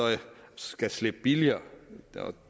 skal slippe billigere